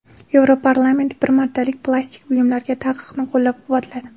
Yevroparlament bir martalik plastik buyumlarga taqiqni qo‘llab-quvvatladi.